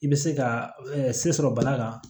I bɛ se ka se sɔrɔ bana kan